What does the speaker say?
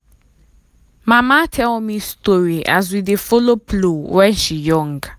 mama tell me story as we dey follow plow when she young.